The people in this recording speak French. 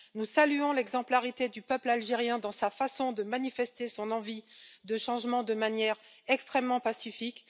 Nous saluons l'exemplarité du peuple algérien dans sa façon de manifester son envie de changement de manière extrêmement pacifique.